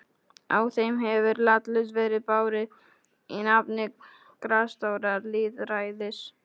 Á þeim hefur látlaust verið barið í nafni grasrótarlýðræðis.